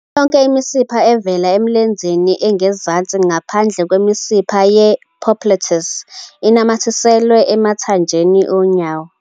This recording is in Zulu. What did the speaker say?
Yonke imisipha evela emlenzeni ongezansi ngaphandle kwemisipha ye-popliteus inamathiselwe emathanjeni onyawo.